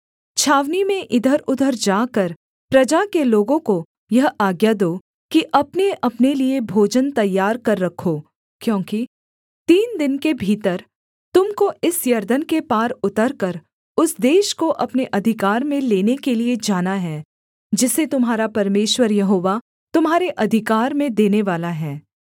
छावनी में इधरउधर जाकर प्रजा के लोगों को यह आज्ञा दो कि अपनेअपने लिए भोजन तैयार कर रखो क्योंकि तीन दिन के भीतर तुम को इस यरदन के पार उतरकर उस देश को अपने अधिकार में लेने के लिये जाना है जिसे तुम्हारा परमेश्वर यहोवा तुम्हारे अधिकार में देनेवाला है